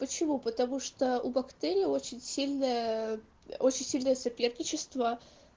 почему потому что у бактерии очень сильная очень сильное соперничество